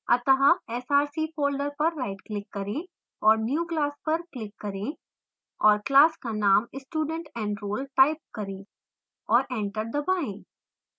अत: src folder पर rightclick करें और new> class पर click करें और class का name studentenroll type करें और enter दबाएँ